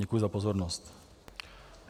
Děkuji za pozornost.